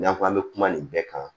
N'a fɔ an bɛ kuma nin bɛɛ kan